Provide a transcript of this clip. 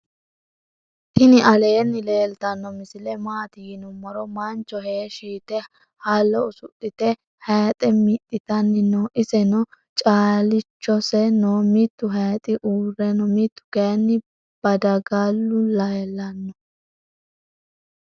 tini alenni leltano misile maati yinumiro. mancho heeshi yitte haalo usudhite hayixe mixitani noo. iseno calichose noo. mittu hayixi uure noo. mittu kayinni bdargula lelano.